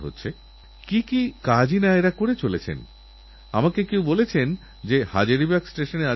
আসুন আমরা সেইভারতীয়দের জন্য গর্ব অনুভব করি যাঁরা দক্ষিণ আফ্রিকাতেও আমাদের জীবনের মূলমন্ত্রকে সম্বল করে জীবনযাপন করে দেখিয়েছেন